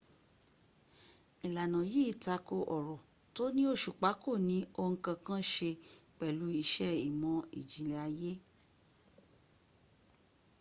ìlànà yìí tako ọ̀rọ̀ tó ní òsùpá kò ní ohun kankan se pẹ̀lú iṣẹ ìmọ̀́ ìjìnlẹ̀ ayé